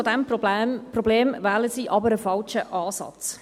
Um dieses Problem zu lösen, wählen sie jedoch einen falschen Ansatz.